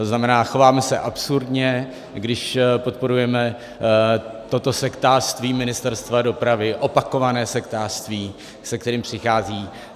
To znamená, chováme se absurdně, když podporujeme toto sektářství Ministerstva dopravy, opakované sektářství, se kterým přichází.